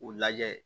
U lajɛ